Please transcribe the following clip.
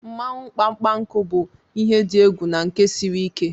Mmawụ mkpamkpanku bụ ihe dị egwu na nke siri ike.